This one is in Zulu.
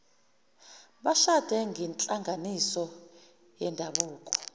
bashade ngenhlanganiso yendabuko